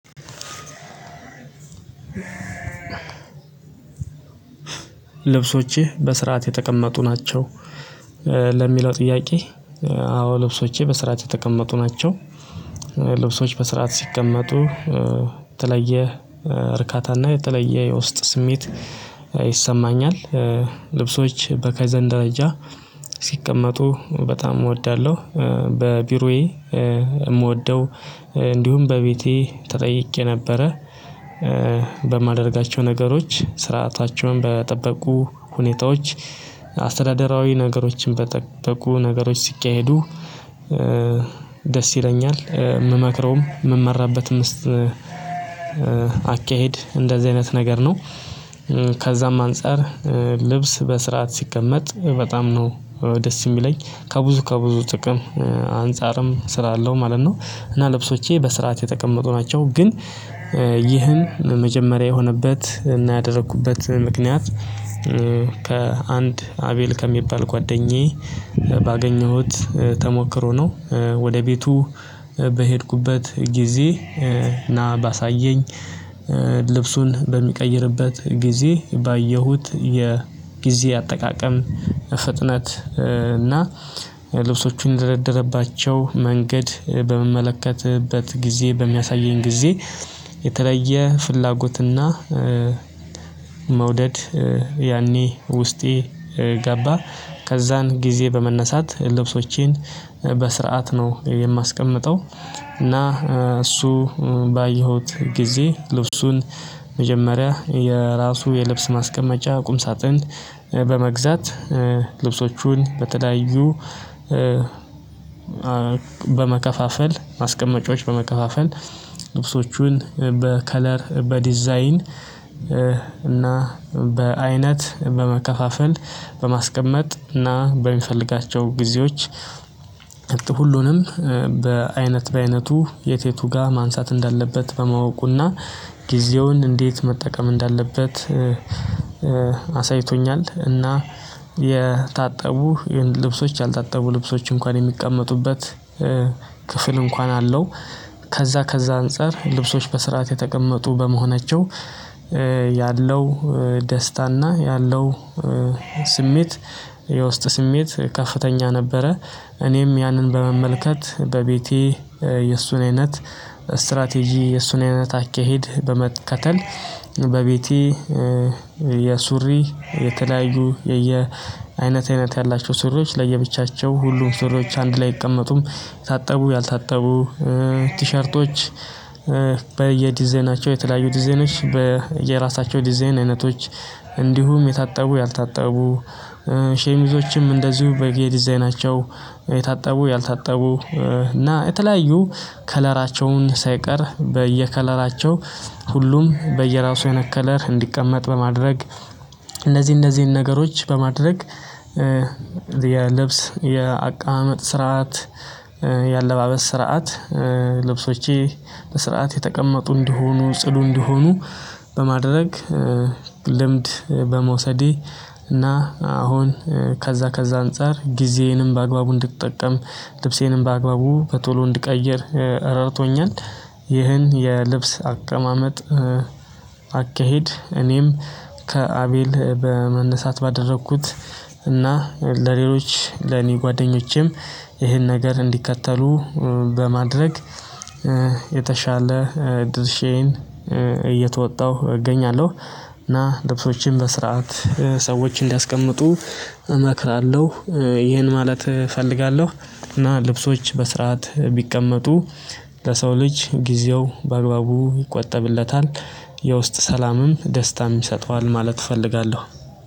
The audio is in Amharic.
ልብሶችህ በስርዓት የተቀመጡ ናቸው? ለሚለው ጥያቄ አዎ ልብሶቼ በስርዓት የተቀመጡ ናቸው። ልብሶች በስርዓት ሲቀመጡ የተለየ እርካታና የተለየ የውስጥ ስሜት ይሰማኛል። ልብሶች በካይዘን ደረጃ ሲቀመጡ በጣም እወዳለሁ በቢሮዬ የምወደው እንዲሁም በቤቴ ተጠይቄ ነበረ። በማደርጋቸው ነገሮች ስርዓታቸውን በጠበቁ ሁኔታዎች አስተዳደራዊ ነገሮችን በጠበቁ ነገሮች ሲካሄዱ። ደስ ይለኛል የምመክረውም የምመራበትም አካሄድ እንደዚህ አይነት ነገር ነው። ከዛም አንፃር ልብስ በስርዓት ሲቀመጥ በጣም ነው ደስ የሚለኝ ከብዙ ከብዙ ጥቅም አንፃርም ስራ አለው ማለት ነው። እና ልብሶቼ በስርዓት የተቀመጡ ናቸው ግን ይህን መጀመሪያ የሆነበት እና ያደረኩበት ምክንያት ከአንድ አቤል ከሚባል ጓደኛዬ ባገኘሁት ተሞክሮ ነው። ወደ ቤቱ በሄድኩበት ጊዜ ና ባሳየኝ ልብሱን በሚቀይርበት ጊዜ ባየሁት የጊዜ አጠቃቀም ፍጥነት እና ልብሶቹን እንደደረደረባቸው መንገድ በምመለከትበት ጊዜ በሚያሳየኝ ጊዜ የተለየ ፍላጎትና መውደድ ያኔ ውስጤ ገባ። ከዛን ጊዜ በመነሳት ልብሶቼን በስርዓት ነው የማስቀምጠው። እና እሱ ባየሁት ጊዜ ልብሱን መጀመሪያ የራሱ የልብስ ማስቀመጫ ቁም ሳጥን በመግዛት ልብሶቹን በተለያዩ በመከፋፈል ማስቀመጫዎች በመከፋፈል ልብሶቹን በከለር በዲዛይን እና በአይነት በመከፋፈል በማስቀመጥ እና በሚፈልጋቸው ጊዜዎች ሁሉንም በአይነት በአይነቱ የትየቱ ጋር ማንሳት እንዳለበት በማወቁና ጊዜውን እንዴት መጠቀም እንዳለበት አሳይቶኛል። እና የታጠቡ ልብሶች ያልታጠቡ ልብሶች እንኳን የሚቀመጡበት ክፍል እንኳን አለው። ከዛ ከዛ አንፃር ልብሶች በስርዓት የተቀመጡ በመሆናቸው ያለው ደስታና ያለው ስሜት የውስጥ ስሜት ከፍተኛ ነበረ። እኔም ያንን በመመልከት በቤቴ የእሱን አይነት ስትራቴጂ የእሱን አይነት አካሄድ በመከተል በቤቴ የሱሪ የተለያዩ የየ አይነት አይነት ያላቸው ሱሪዎች ለየብቻቸው ሁሉም ሱሪዎች አንድ ላይ አይቀመጡም። የታጠቡ ያልታጠቡ ቲሸርቶች በየዲዛይናቸው የተለያዩ ዲዛይኖች በየራሳቸው ዲዛይን አይነቶች እንዲሁም የታጠቡ ያልታጠቡ ሸሚዞችም እንደዚሁ በየ ዲዛይናቸው የታጠቡ ያልታጠቡ እና የተለያዩ ከለራቸውን ሳይቀር በየከለራቸው ሁሉም በየራሱ አይነት ከለር እንዲቀመጥ በማድረግ እነዚህ እነዚህን ነገሮች በማድረግ። የልብስ የአቀማመጥ ስርዓት የአለባበስ ስርዓት ልብሶቼ በስርዓት የተቀመጡ እንዲሆኑ ጽዱ እንዲሆኑ በማድረግ። ልምድ በመውሰዴ እና አሁን ከዛ ከዛ አንፃር ጊዜዬንም በአግባቡ እንድጠቀም ልብሴንም በአግባቡ በቶሎ እንድቀይር ረድቶኛል። ይህን የልብስ አቀማመጥ አካሄድ እኔም ከአቤል በመነሳት ባደረኩት እና ለሌሎች ለኔ ጓደኞቼም ይሄን ነገር እንዲከተሉ በማድረግ የተሻለ ድርሼየን እየተወጣሁ እገኛለሁ። እና ልብሶችን በስርዓት ሰዎች እንዲያስቀምጡ እመክራለሁ ይህን ማለት እፈልጋለሁ። እና ልብሶች በስርዓት ቢቀመጡ ለሰው ልጅ ጊዜው በአግባቡ ይቆጠብለታል የውስጥ ሰላምም ደስታም ይሰጠዋል ማለት እፈልጋለሁ።